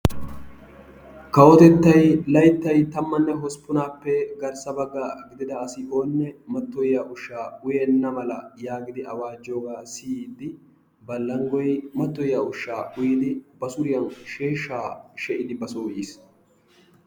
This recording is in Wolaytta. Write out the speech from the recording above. kawotettay layttay tammane hospunnappe garssa baga gididda asi oone matoyiya ushaa uyenna mala yaagidi awajiyooga siyiidi balangoy mattoyiya ushaa uyidi ba suriyan sheeshaa shee'idi ba soo yiis.